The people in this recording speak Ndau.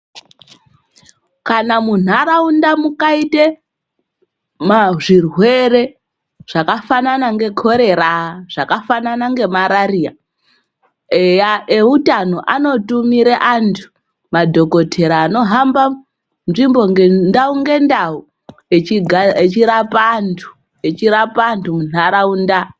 Kana munharaunda mukaite zvirwere zvakafana ngekorera zvakafanana ngemarariya eya eutano anotumire antu madhokotera anohamba ndau ngendau echirapa antu ,echirapa antu munharaunda.